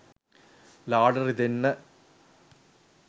ලාවට රිදෙන්න